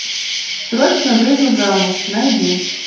срочно выйду замуж найди